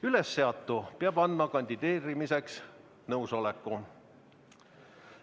Ülesseatu peab andma kandideerimiseks nõusoleku.